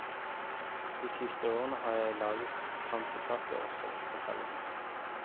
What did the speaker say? De siste årene har jeg laget kransekake også, forteller hun.